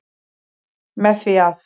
Með því að.